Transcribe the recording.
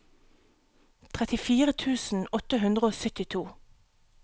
trettifire tusen åtte hundre og syttito